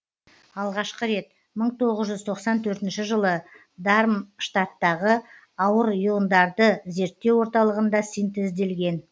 алғашқы рет мың тоғыз жүз тоқсан төртінші жылы дармштадттағы ауыр иондарды зерттеу орталығында синтезделген